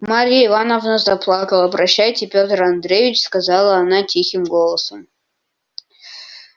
марья ивановна заплакала прощайте петр андреич сказала она тихим голосом